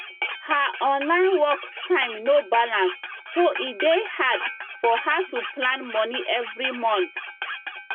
her online work time no balance so e dey hard for her to plan money every month